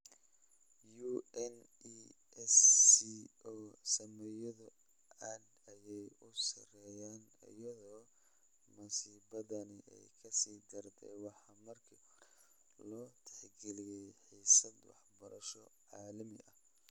UNESCO, saamiyadu aad ayay u sarreeyaan, iyadoo masiibadani ay ka sii dartay waxa markii horeba loo tixgeliyey xiisad waxbarasho oo caalami ah.